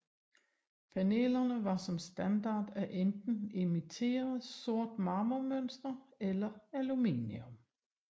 Panelerne var som standard af enten imiteret sort marmormønster eller aluminium